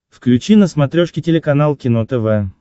включи на смотрешке телеканал кино тв